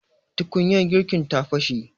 tukunyar girkin ta fashe